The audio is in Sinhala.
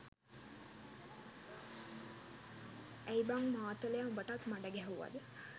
ඇයි බං මාතලයා උඹටත් මඩ ගැහුවද